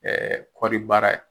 Ɛɛ kɔri baara ye